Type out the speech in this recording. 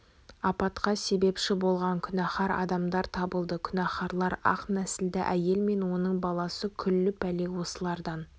апатқа себепші болған күнәһар адамдар табылды күнәһарлар ақ нәсілді әйел мен оның баласы күллі пәле осылардан